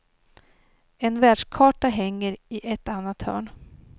En världskarta hänger i ett annat hörn.